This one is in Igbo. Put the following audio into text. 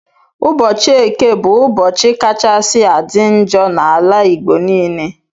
Ụbọchi eke bu ụbọchi kachasi adi njọ na ala igbo nile